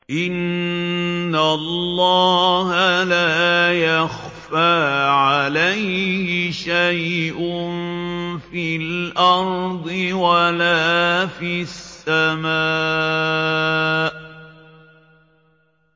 إِنَّ اللَّهَ لَا يَخْفَىٰ عَلَيْهِ شَيْءٌ فِي الْأَرْضِ وَلَا فِي السَّمَاءِ